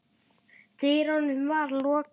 dyrunum var lokað.